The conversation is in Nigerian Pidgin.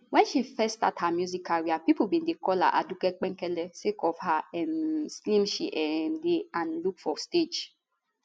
wen she first start her music career pipo bin dey call her aduke penkele sake of how um slim she um dey and look for stage